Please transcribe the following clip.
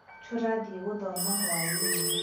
turathie guthoma hwaini